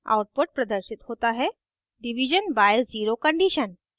output प्रदर्शित होता है: division by zero condition